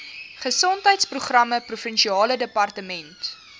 gesondheidsprogramme provinsiale departement